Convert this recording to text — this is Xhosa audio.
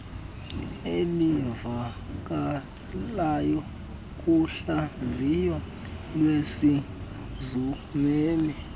elivakalayo kuhlaziyo lwezezimali